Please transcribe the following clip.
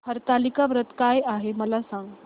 हरतालिका व्रत काय आहे मला सांग